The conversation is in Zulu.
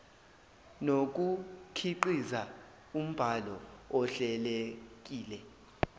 nokukhiqiza umbhalo ohlelekile